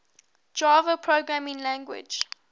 java programming language